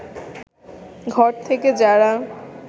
ঘর থেকে যারা